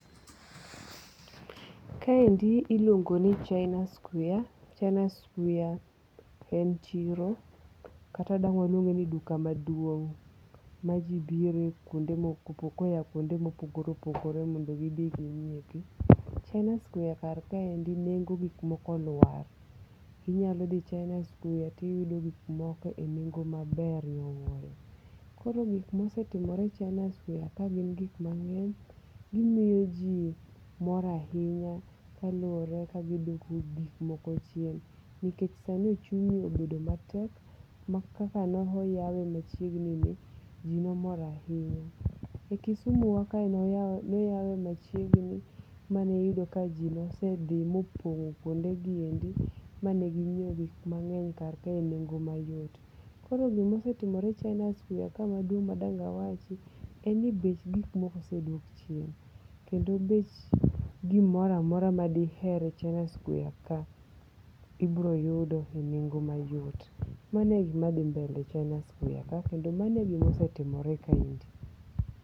Kaendi iluongo ni China Square. China Square en chiro kata dang' waluonge ni duka maduong' ma ji bire kuonde koa kuonde mopogore opogore mondo gi bi gi ng'iepi. China Square kar kaendi nengo gik moko olwar. Inyalo dhi China Square tiyudo gik moko e nengo maber nyowuoyo. Koro gik mosetimore China Squar ka gin gik ma ng'eny. Gimiyo ji mor ahinya kaluwore kaka giduoko gik moko chien. Nikech sani uchumi obedo matek ma kaka noyawe machiegni ni ji nomor ahinya. E kusumo wa kae noyawe machiegni, manoyudo ka ji nosedhi mopong' kuonde giendi mane ging'iew gik mang'eny kar kae e nengo mayot. Koro gima osetimore China Square ka maduong' madong awachi en ni bech gik moko osedok chien. Kendo bech gomoro amora madiher e China Square ka ibiro yudo e nengo mayot. Mano e gima dhi mbele e China Square ka. Kendo mano e gima osetimore China Square kaendi.